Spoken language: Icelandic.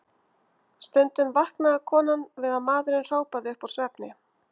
Stundum vaknaði konan við að maðurinn hrópaði upp úr svefni